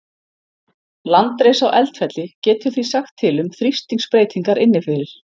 Landris á eldfjalli getur því sagt til um þrýstingsbreytingar inni fyrir.